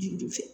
Juru ju fɛ